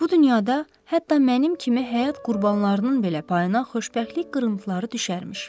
Bu dünyada hətta mənim kimi həyat qurbanlarının belə payına xoşbəxtlik qırıntıları düşərmiş.